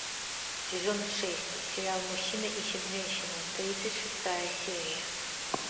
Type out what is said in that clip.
сезон шесть сериал мужчина ищет женщину тридцать шестая серия